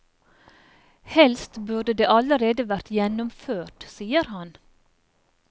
Helst burde det allerede vært gjennomført, sier han.